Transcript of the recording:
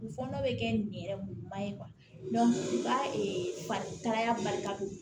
U fɔɔnɔ bɛ kɛ nin yɛrɛ ɲuman ye u ka tagaya bali ka don